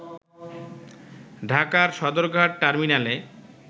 ঢাকার সদরঘাট টার্মিনালে